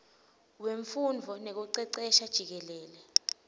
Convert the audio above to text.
wemfundvo nekucecesha jikelele